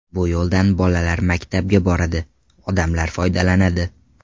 Bu yo‘ldan bolalar maktabga boradi, odamlar foydalanadi.